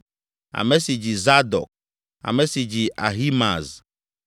ame si dzi Zadok, ame si dzi Ahimaaz,